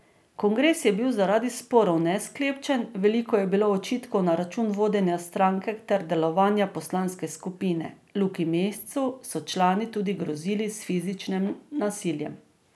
Kongres je bil zaradi sporov nesklepčen, veliko je bilo očitkov na račun vodenja stranke ter delovanja poslanske skupine, Luki Mescu so člani tudi grozili s fizičnim nasiljem.